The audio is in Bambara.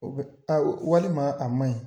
O be a walima ma a manɲi